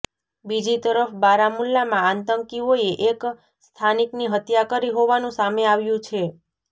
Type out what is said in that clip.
બીજી તરફ બારામુલ્લામાં આતંકીઓએ એક સ્થાનિકની હત્યા કરી હોવાનું સામે આવ્યું છે